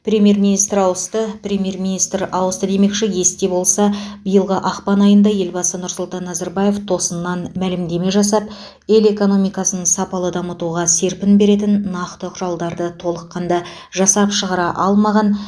премьер министр ауысты премьер министр ауысты демекші есте болса биылғы ақпан айында елбасы нұрсұлтан назарбаев тосыннан мәлімдеме жасап ел экономикасын сапалы дамытуға серпін беретін нақты құралдарды толыққанда жасап шығара алмаған